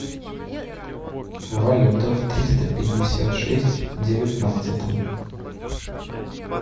валюта в триста пятьдесят шесть в девятнадцатом